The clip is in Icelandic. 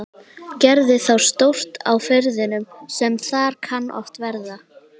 Gerði þá stórt á firðinum sem þar kann oft verða.